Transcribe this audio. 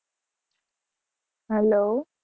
hello